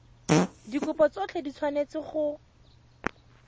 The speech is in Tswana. dikopo tsotlhe di tshwanetse go